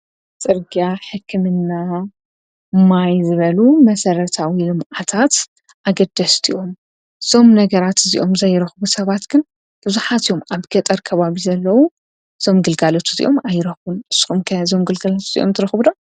ጽርጋ ሕክምና ማይ ዝበሉ መሠረታዊ ሉም ኣታት ኣገደስትእዮም ዞም ነገራት እዚኦም ዘይረኽቡ ሰባት ግን ብዙኃት እዮም ኣብ ገጠር ቀባቢ ዘለዉ ዞም ግልጋለቱ እዚኦም ኣይረኹን እስምከ ዘምግልጋለት እዚኦም ትረኹብሎ።